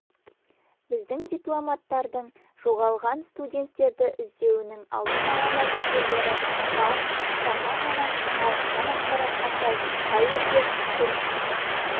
біздің дипломаттардың жоғалған студенттерді іздеуінің алдын ала нәтижелері бар жаңа ғана алынған ақпаратқа сай каирде тіл